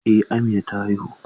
Eh Amina ta haihu.